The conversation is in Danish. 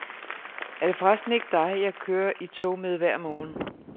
Er det forresten ikke dig, jeg kører i tog med hver morgen?